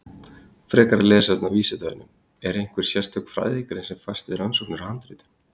Frekara lesefni á Vísindavefnum: Er einhver sérstök fræðigrein sem fæst við rannsóknir á handritum?